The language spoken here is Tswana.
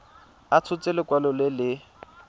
a tshotse lekwalo le le